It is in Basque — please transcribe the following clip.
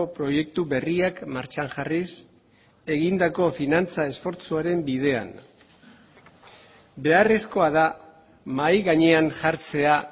proiektu berriak martxan jarriz egindako finantza esfortzuaren bidean beharrezkoa da mahai gainean jartzea